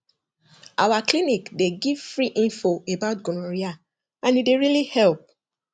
our clinic dey give free info about gonorrhea and e dey really help